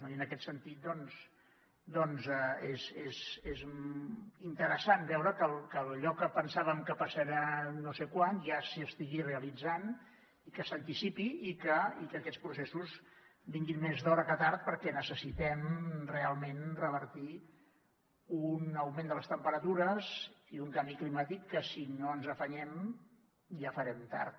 i en aquest sentit doncs és interessant veure que allò que pensàvem que passarà no sé quan ja s’estigui realitzant i que s’anticipi i que aquests processos vinguin més d’hora que tard perquè necessitem realment revertir un augment de les temperatures i un canvi climàtic que si no ens afanyem ja farem tard